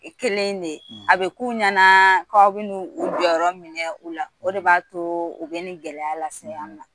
Kelen de a bɛ k'u ɲɛna k'aw bɛna u jɔyɔrɔ minɛ u la o de b'a to u bɛ nin gɛlɛya lase an ma